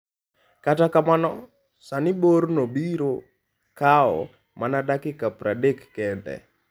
Kata kamano, sani borno biro kawo mana dakika 30 kende.